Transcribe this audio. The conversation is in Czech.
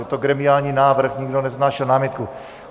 Je to gremiální návrh, nikdo nevznášel námitku.